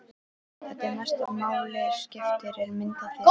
Það sem mestu máli skiptir er mynd af þér.